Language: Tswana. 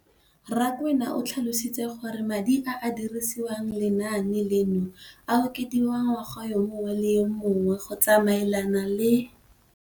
Rakwena o tlhalositse gore madi a a dirisediwang lenaane leno a okediwa ngwaga yo mongwe le yo mongwe go tsamaelana le